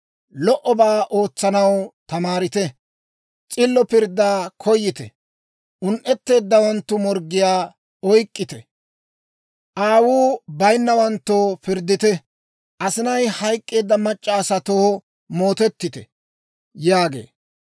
lo"obaa ootsanaw tamaarite. S'illo pirddaa koyite; un"etteeddawanttu morggiyaa oyk'k'ite. Aawuu bayinnawanttoo pirddite; asinay hayk'k'eedda mac'c'a asatoo mootettite» yaagee.